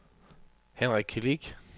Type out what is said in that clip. Henrik Kilic